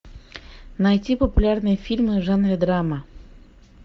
найти популярные фильмы в жанре драма